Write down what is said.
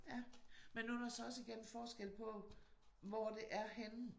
Ja men nu der også igen forskel på hvor det er henne